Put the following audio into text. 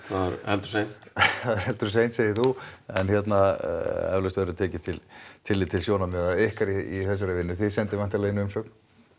það er heldur seint það er heldur seint segir þú en hérna eflaust verður tekið tillit til sjónarmiða ykkar í þessari vinnu þið sendið væntanlega inn umsögn